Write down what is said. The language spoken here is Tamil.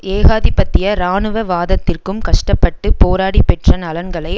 ஏகாதிபத்திய இராணுவ வாதத்திற்கும் கஷ்ட பட்டு போராடிப்பெற்ற நலன்களை